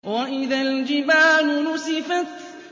وَإِذَا الْجِبَالُ نُسِفَتْ